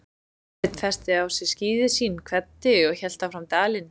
Sveinn festi á sig skíði sín, kvaddi og hélt fram dalinn.